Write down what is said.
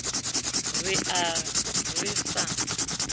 re a be re sa